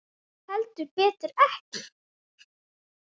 Heldur betur ekki.